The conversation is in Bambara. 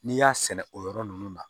N'i y'a sɛnɛ o yɔrɔ nunnu na